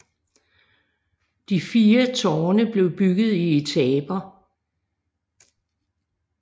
De fire tårne blev bygget i etaper